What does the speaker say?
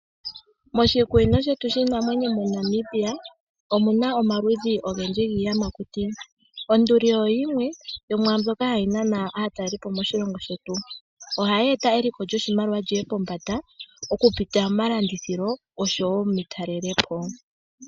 Moshikunino shetu shiinamwenyo moNamibia omuna omaludhi ogendji gIiyamakuti. Onduli oyimwe yomu mbyoka hayi nana aatalelipo moshilongo shetu. Ohayi eta eliko lyoshimaliwa lyiye pombanda oku pitila mo malanditho osho wo metalelepo.